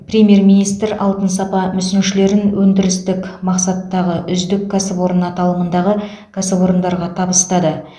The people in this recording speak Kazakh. премьер министр алтын сапа мүсіншелерін өндірістік мақсаттағы үздік кәсіпорын аталымындағы кәсіпорындарға табыстады